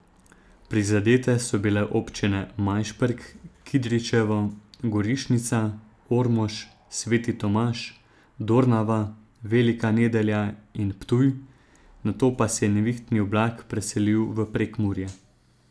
Prizadete so bile občine Majšperk, Kidričevo, Goriščnica, Ormož, Sveti Tomaž, Dornava, Velika Nedelja in Ptuj, nato pa se je nevihtni oblak preselil v Prekmurje.